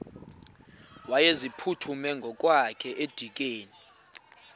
wayeziphuthume ngokwakhe edikeni